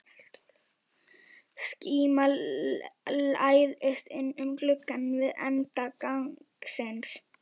Skíma læðist inn um glugga við enda gangsins.